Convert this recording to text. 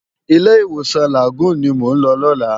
Ilé iwósan Lágúùn ni mó n lò lòlá